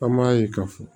An m'a ye ka fɔ